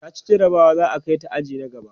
taci jarabawa za'a Kai ta aji na gaba